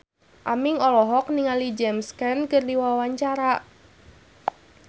Aming olohok ningali James Caan keur diwawancara